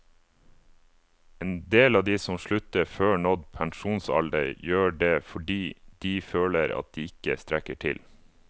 En del av de som slutter før nådd pensjonsalder gjør det fordi de føler at de ikke strekker til.